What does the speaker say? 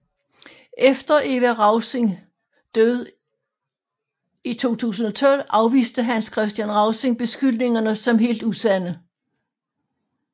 Efter Eva Rausing død i 2012 afviste Hans Kristian Rausing beskyldningerne som helt usande